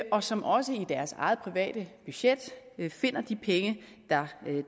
og som også i deres eget private budget finder de penge